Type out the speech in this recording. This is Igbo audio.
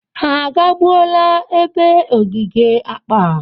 Ha agabula ebe ogige akpa?